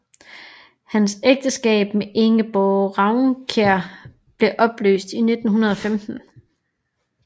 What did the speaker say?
Hans ægteskab med Ingeborg Raunkiær blev opløst i 1915